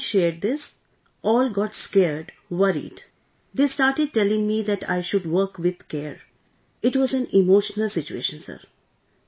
And as I shared this, all got scared, worried ... they started telling me that I should work with care...it was an emotional situation Sir